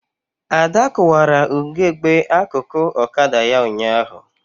Ada kụwara ugegbe akụkụ ọkada ya ụnyaahụ